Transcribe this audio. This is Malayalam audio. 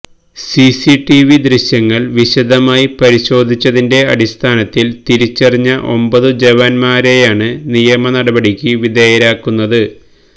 സിസിടിവി ദൃശ്യങ്ങൾ വിശദമായി പരിശോധിച്ചതിന്റെ അടിസ്ഥാനത്തിൽ തിരിച്ചറിഞ്ഞ ഒമ്പതു ജവാന്മാരെയാണ് നിയമനടപടിക്ക് വിധേയരാക്കുന്നത്